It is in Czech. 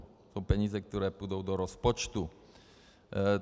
To jsou peníze, které půjdou do rozpočtu.